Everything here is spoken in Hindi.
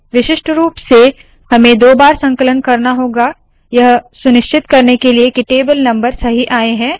विशिष्ट रूप से हमें दो बार संकलन करना होगा यह सुनिश्चित करने के लिए के टेबल नम्बर सही आए